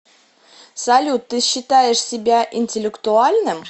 салют ты считаешь себя интеллектуальным